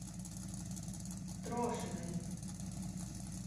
трошиной